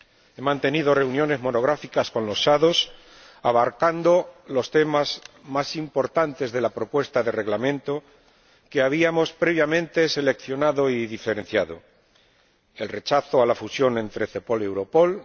He mantenido reuniones monográficas con los ponentes alternativos que abarcaban los temas más importantes de la propuesta de Reglamento que habíamos previamente seleccionado y diferenciado el rechazo a la fusión entre Cepol y Europol